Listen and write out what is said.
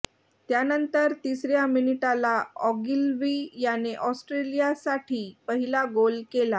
त्यानंतर तिसऱ्या मिनिटाला ऑगिलवि याने ऑस्ट्रेलियासाठी पहिला गोल केला